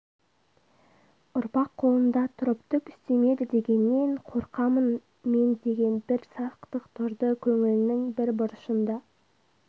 ұрпақ қолында тұрып түк істемеді дегеннен қорқамын ме деген бір сақтық тұрды көңілінің бір бұрышында